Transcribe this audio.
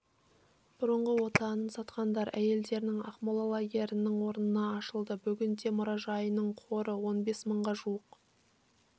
бұрынғы отанын сатқандар әйелдерінің ақмола лагерінің орнында ашылды бүгінде мұражайының қоры он бес мыңға жуық